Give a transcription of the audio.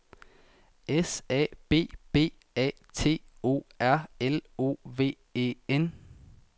S A B B A T O R L O V E N